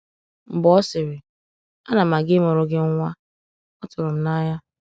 “Mgbè ọ sịrị, ‘Ana m aga ịmụrụ gị nwa,’ ọ tụrụ m n’anya.”